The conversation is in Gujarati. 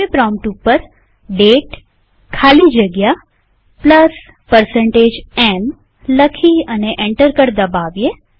પ્રોમ્પ્ટ ઉપર દાતે ખાલી જગ્યા m લખી અને એન્ટર કળ દબાવીએ